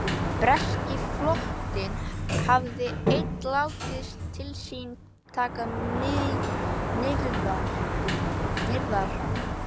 Breski flotinn hafði enn látið til sín taka nyrðra.